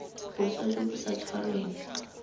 boswa jo bo sa tshwarweng